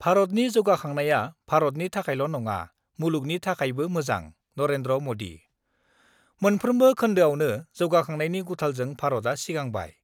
भारतनि जौगाखांनाया भारतनि थाखायल' नङा, मुलुगनि थाखायबो मोजां : नरेन्द्र मदि मोनफ्रोमबो खोन्दोआवनो जौगाखांनायनि गुथालजों भारतआ सिगांबाय।